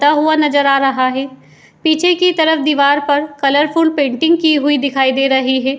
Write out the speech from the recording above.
ता हुआ नज़र आ रहा है | पीछे की तरफ़ दीवार पर कलरफूल पेन्टिंग की हुई दिखाई दे रही है |